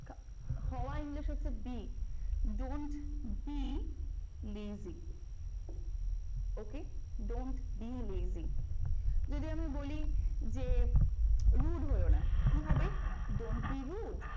হওয়া english হচ্ছে be. don't be lazy OK? don't be lazy যদি আমি বলি যে rude হইও না কি হবে? don't be rude